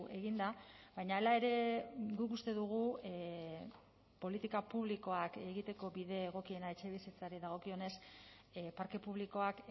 egin da baina hala ere guk uste dugu politika publikoak egiteko bide egokiena etxebizitzari dagokionez parke publikoak